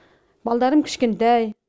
балдарым кішкентай